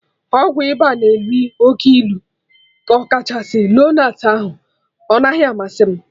Ọgwụ ịba na elu oke ilu, ọkachasị lonart ahụ, ọ naghị amasị m